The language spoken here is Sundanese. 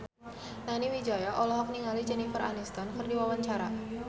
Nani Wijaya olohok ningali Jennifer Aniston keur diwawancara